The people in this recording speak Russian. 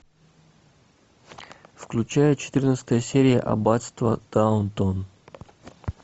включай четырнадцатая серия аббатство даунтон